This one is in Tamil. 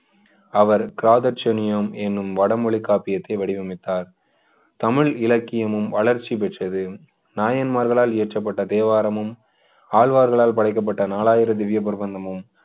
அவர் கிராதசனியம் என்னும் வடமொழி காப்பியத்தை வடிவமைத்தார் தமிழ் இலக்கியமும் வளர்ச்சி பெற்றது நாயன்மார்களால் இயற்றப்பட்ட தேவாரமும் ஆழ்வார்களால் படைக்கப்பட்ட நாலாயிர திவ்ய பிரபந்தமும்